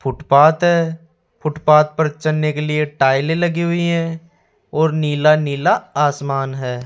Footpath है footpath पर चलने के लिए टाइलें लगी हुई हैं और नीला नीला आसमान है।